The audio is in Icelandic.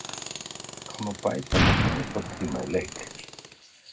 Hvað má bæta miklum uppbótartíma í leik?